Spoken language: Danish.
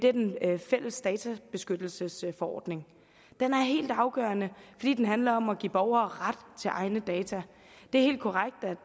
er den fælles databeskyttelsesforordning den er helt afgørende fordi den handler om at give borgere ret til egne data det er helt korrekt at